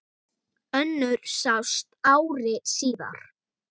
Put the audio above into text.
Önnur sást ári síðar.